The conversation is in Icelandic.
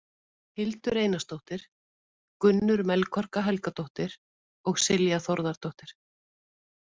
Hildur Einarsdóttir, Gunnur Melkorka Helgadóttir og Silja Þórðardóttir.